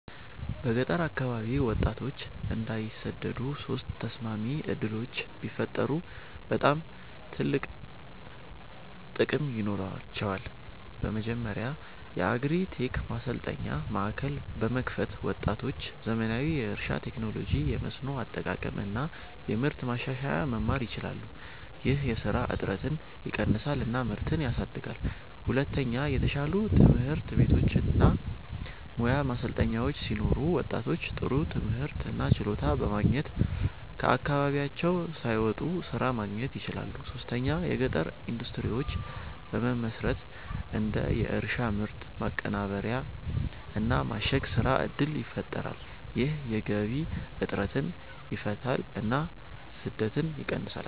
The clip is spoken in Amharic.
በገጠር አካባቢ ወጣቶች እንዳይሰደዱ ሶስት ተስማሚ ዕድሎች ቢፈጠሩ በጣም ትልቅ ጥቅም ይኖራቸዋል። መጀመሪያ የአግሪ-ቴክ ማሰልጠኛ ማዕከላት በመክፈት ወጣቶች ዘመናዊ የእርሻ ቴክኖሎጂ፣ የመስኖ አጠቃቀም እና የምርት ማሻሻያ መማር ይችላሉ። ይህ የስራ እጥረትን ይቀንሳል እና ምርትን ያሳድጋል። ሁለተኛ የተሻሉ ትምህርት ቤቶች እና ሙያ ማሰልጠኛዎች ሲኖሩ ወጣቶች ጥሩ ትምህርት እና ችሎታ በማግኘት ከአካባቢያቸው ሳይወጡ ስራ ማግኘት ይችላሉ። ሶስተኛ የገጠር ኢንዱስትሪዎች በመመስረት እንደ የእርሻ ምርት ማቀናበር እና ማሸግ ስራ እድል ይፈጠራል። ይህ የገቢ እጥረትን ይፈታል እና ስደትን ይቀንሳል።